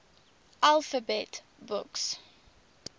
alphabet books